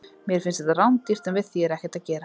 Mér finnst þetta rándýrt, en við því er ekkert að gera.